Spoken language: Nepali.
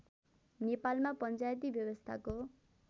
नेपालमा पञ्चायती व्यवस्थाको